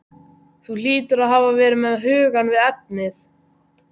Þú hlýtur að hafa verið með hugann við efnið.